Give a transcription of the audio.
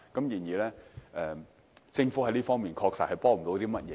然而，政府在這方面確實幫不上忙。